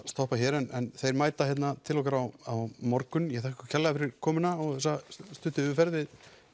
stoppa hér en þeir mæta hérna til okkar á á morgun ég þakka ykkur kærlega fyrir komuna og þessa stuttu yfirferð við